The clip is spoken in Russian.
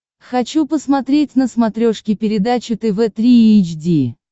хочу посмотреть на смотрешке передачу тв три эйч ди